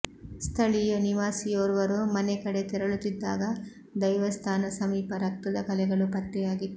ಸ್ಥಳೀಯ ನಿವಾಸಿಯೋರ್ವರು ಮನೆ ಕಡೆಗೆ ತೆರಳುತ್ತಿದ್ದಾಗ ದೈವಸ್ಥಾನ ಸಮೀಪ ರಕ್ತದ ಕಲೆಗಳು ಪತ್ತೆಯಾಗಿತ್ತು